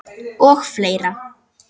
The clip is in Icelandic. Og fleira.